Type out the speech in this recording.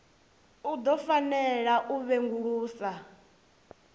u ḓo fanela u sengulusa